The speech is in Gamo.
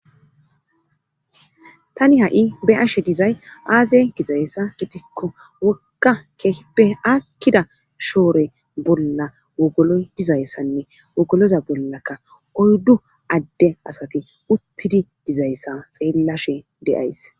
Tani ha7i be ashe dizay aaze gizayssa gitikko wokka eakkida shoore bolla wogolo dizayssanne wogoloza bollakka oyddu adde asati uttidi dizayssa xeellashe deays.